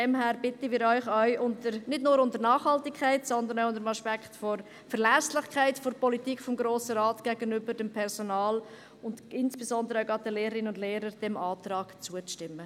Deshalb bitten wir Sie nicht nur wegen der Nachhaltigkeit, sondern auch unter dem Aspekt der Verlässlichkeit der Politik des Grossen Rates gegenüber dem Personal und insbesondere gerade auch der Lehrerinnen und Lehrer, diesem Antrag zuzustimmen.